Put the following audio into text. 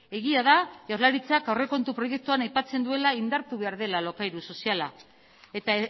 egia da jaurlaritzak aurrekontu proiektuak aipatzen duela indartu behar dela alokairu soziala eta